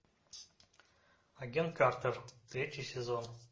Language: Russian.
агент картер третий сезон